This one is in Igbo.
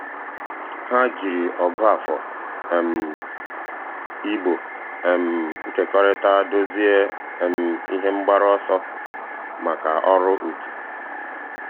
há jìrì ọ̀gụ́àfọ̀ um ị̀gbò um nkekọrịta dòzìé um ihe mgbaru ọsọ màkà ọ́rụ́ otu.